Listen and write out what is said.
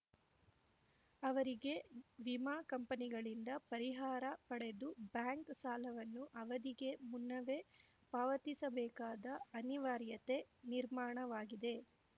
ಅವರಿಗೆ ವಿಮಾ ಕಂಪನಿಗಳಿಂದ ಪರಿಹಾರ ಪಡೆದು ಬ್ಯಾಂಕ್‌ ಸಾಲವನ್ನು ಅವಧಿಗೆ ಮುನ್ನವೇ ಪಾವತಿಸಬೇಕಾದ ಅನಿವಾರ್ಯತೆ ನಿರ್ಮಾಣವಾಗಿದೆ